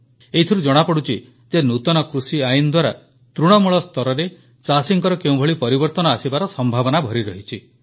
ଏଥିରୁ ଜଣାପଡ଼ୁଛି ଯେ ନୂତନ କୃଷିଆଇନ ଦ୍ୱାରା ତୃଣମୂଳ ସ୍ତରରେ ଚାଷୀଙ୍କର କେଉଁଭଳି ପରିବର୍ତ୍ତନ ଆସିବାର ସମ୍ଭାବନା ଭରି ରହିଛି